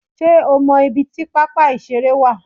Sé o mo ibi tí pápá ìṣeré wà